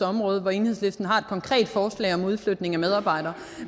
område hvor enhedslisten har et konkret forslag om udflytning af medarbejdere